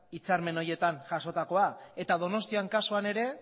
hitzarmen horietan jasotakoa eta donostiako kasuan ere